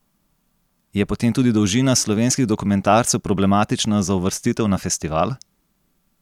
Je potem tudi dolžina slovenskih dokumentarcev problematična za uvrstitev na festival?